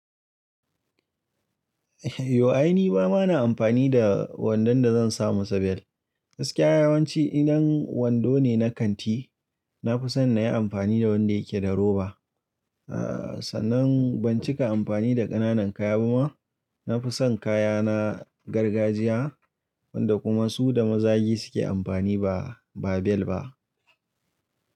Yo ai ni ba ma na amfani da wandon da zan sa masa bellt Gaskiya yawanci idan wando ne na kanti, na fi son na yi amfani da wanda yake da roba. Sannan ban cika amfani da ƙananan kaya ba ma. Na fi son kaya na gargajiya wanda kuma su da mazagi suke amfani ba, ba bel ba.